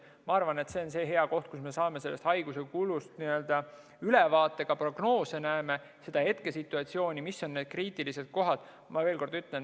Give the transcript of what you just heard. Ma arvan, et see on hea koht, kus me saame ülevaate haiguse kulust, näeme prognoose ja hetkesituatsiooni, mis on need kriitilised kohad.